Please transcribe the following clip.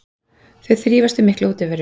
Þau þrífast við mikla útiveru.